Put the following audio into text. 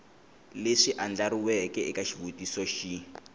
leswi andlariweke eka xivutiso xin